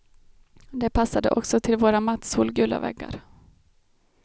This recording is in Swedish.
Det passade också till våra matt solgula väggar.